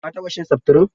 Ka taɓa shan seftirin?